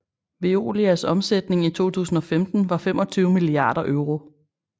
Veolias omsætning i 2015 var 25 milliarder euro